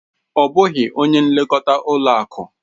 Ọ bụghị onye nlekọta ụlọ akụ.